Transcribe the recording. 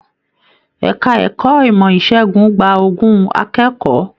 Ẹka ẹ̀kọ́ ìmọ ìsègùn gbà ogún akẹ́kọ̀ọ́